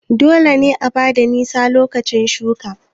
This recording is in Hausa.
Dole ne a bada nisa lokacin shuƙi